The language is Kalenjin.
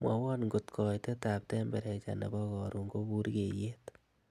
mwowon ng'ot koitet ab temprecha nebo korun ko burgeiyet